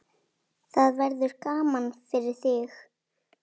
Það verður gaman fyrir þig.